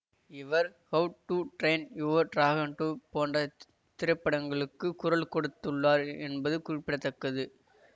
இவர் how to train your dragon two போன்டத் திரைப்படங்களுக்கு குரல் கொடுத்துள்ளார் என்பது குறிப்பிட தக்கது